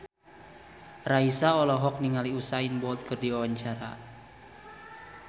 Raisa olohok ningali Usain Bolt keur diwawancara